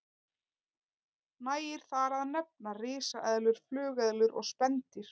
Nægir þar að nefna risaeðlur, flugeðlur og spendýr.